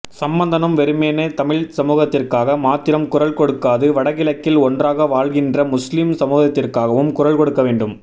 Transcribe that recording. சம்பந்தனும் வெறுமனே தமிழ் சமூகத்திற்காக மாத்திரம் குரல் கொடுக்காது வடகிழக்கில் ஒன்றாக வாழ்கின்ற முஸ்லிம் சமூகத்திற்காகவும் குரல் கொடுக்க வேண்டும்